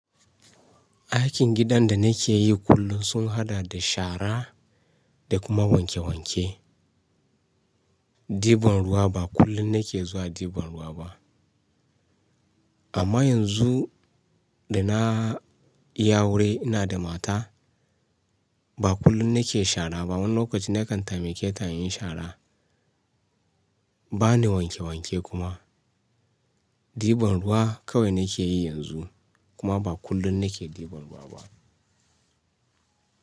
Aikin gidan da nake yi kullum sun haɗa da shara da kuma wanke wanke. Diban ruwa ba kullum nake zuwa diban ruwa ba. Amma yanzu da na yi aure ina da mata ba kullum nake shara ba. Wani lokaci nakan taimake ta in yi shara. Ba ni wanke wanke kuma. Diban ruwa kawai nake yi yanzu kuma ba kullum nake diban ruwa ba.